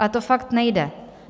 Ale to fakt nejde.